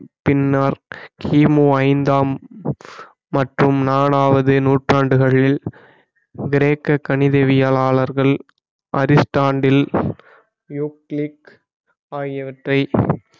பின்னால் கிமு ஐந்தாம் மற்றும் நாலாவது நூற்றாண்டுகளில் கிரேக்க கணிதவியலாளர்கள் அரிஸ்டாண்டில் யூக்ளிக் ஆகியவற்றை